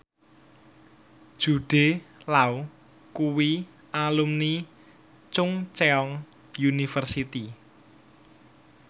Jude Law kuwi alumni Chungceong University